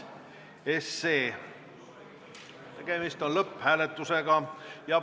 Tegemist on lõpphääletusega.